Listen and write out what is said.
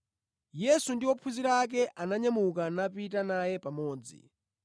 Yesu ndi ophunzira ake ananyamuka napita naye pamodzi.